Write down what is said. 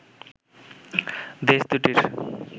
দেশ দু’টির